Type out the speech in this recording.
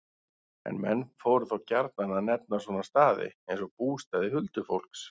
En menn fóru þá gjarnan að nefna svona staði, eins og bústaði huldufólks.